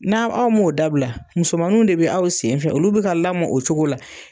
N'a aw m'o dabila musomanu de bɛ aw sen fɛ olu bi ka lamɔ o cogo la